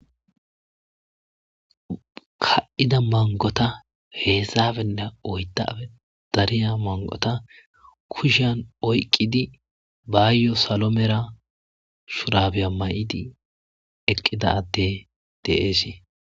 Ka'ida mangota hezdappenne oydape dariya mangota kushiyan oyqidi bayo salo mera shurabiya mayidi eqida ade de'es.